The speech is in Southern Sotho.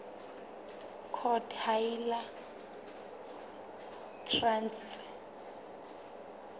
court ha e le traste